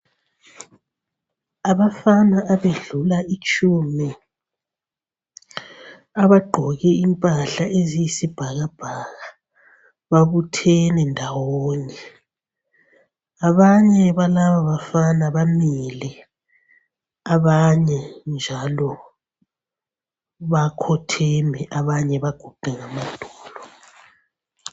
Abafana abedlula itshumi abagqoke impahla eziyisibhakabhaka babuthene ndawonye. Abanye balaba bafana bamile, abanye njaalo bakhotheme abanye baguqe ngamadolo.